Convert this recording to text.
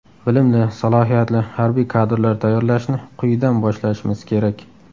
Bilimli, salohiyatli harbiy kadrlar tayyorlashni quyidan boshlashimiz kerak.